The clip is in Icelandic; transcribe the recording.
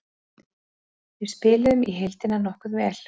Við spiluðum í heildina nokkuð vel.